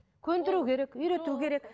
көндіру керек үйрету керек